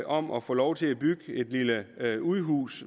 om at få lov til at bygge et lille udhus